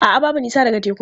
A'a, babu nisa daga tekun.